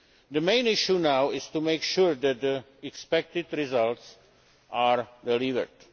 The main issue now is to make sure that the expected results are delivered.